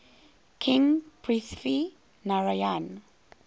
king prithvi narayan